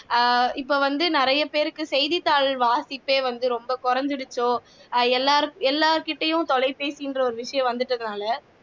அஹ் இப்போ வந்து நிறையபேருக்கு செய்திதாள் வாசிப்பே வந்து ரொம்ப குறைஞ்சிருச்சோ அஹ் எல்லார் எல்லார்கிட்டயும் தொலைபேசிங்க்கிற ஒரு விஷயம் வந்துட்டனால